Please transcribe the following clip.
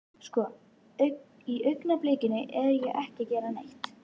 Sko. í augnablikinu er ég ekki að gera neitt.